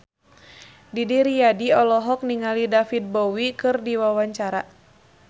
Didi Riyadi olohok ningali David Bowie keur diwawancara